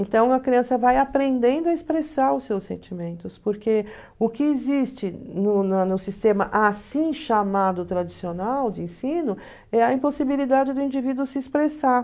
Então a criança vai aprendendo a expressar os seus sentimentos, porque o que existe no na no sistema assim chamado tradicional de ensino é a impossibilidade do indivíduo se expressar.